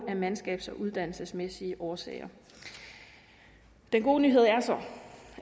af mandskabs og uddannelsesmæssige årsager den gode nyhed er så